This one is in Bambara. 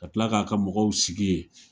Ka tila k'a ka mɔgɔw sigi ye